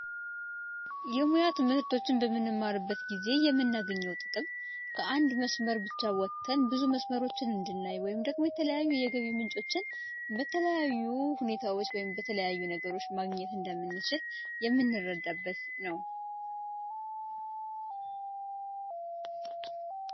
የሙያ ትምህርቶችን በምንማርበት ጊዜ የምናገኘው ጥቅም ከአንድ መስመር ብቻ ወጠን የተለያዩ መስመሮችን ወይም ብዙ የተለያዩ የገቢ ምንጮችን በተለያዩ ሁኔታዎች ወይም በተለያዩ ነገሮች ማግኘት እንደምንችል የምንረዳበት ነው።